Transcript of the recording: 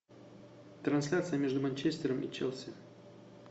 трансляция между манчестером и челси